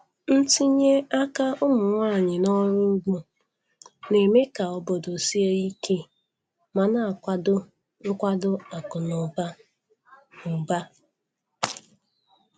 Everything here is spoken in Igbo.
Ntinye aka ụmụ nwanyị n'ọrụ ugbo na-eme ka obodo sie ike ma na-akwado nkwado akụ na ụba. ụba.